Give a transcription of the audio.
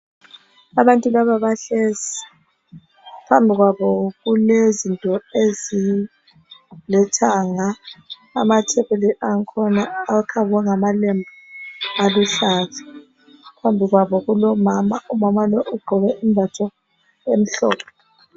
Abantu laba bahlezi phambili kwabo kulezinto ezilithanga. Amathebuli angkhona akhavwe ngamalembu aluhlaza. Phambi kwabo kulomama, umama lo ugqoke imbatho emhlophe.